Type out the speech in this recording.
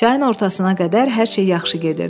Çayın ortasına qədər hər şey yaxşı gedirdi.